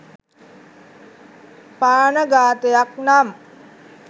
ප්‍රාණඝාතයක් නම්